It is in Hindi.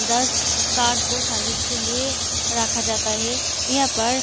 दस कार को सर्विस के लिए रखा जाता है यहाँ पर।